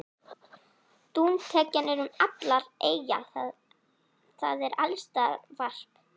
Dúntekjan er um allar eyjar, það er alls staðar varp.